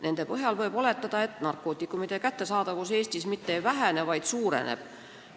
Nende põhjal võib oletada, et narkootikumide kättesaadavus Eestis mitte ei vähene, vaid suureneb.